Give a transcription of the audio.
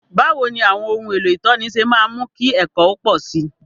Báwo ni àwọn ohun èlò ìtọ́ni ṣe máa ń mú kí ẹ̀kọ́ ó pọ̀ sí i?